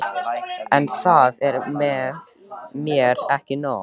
En það er mér ekki nóg.